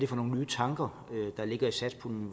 for nogle nye tanker der ligger i satspuljen